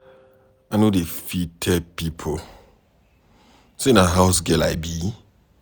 I no dey fit tell pipo sey na house-girl I be.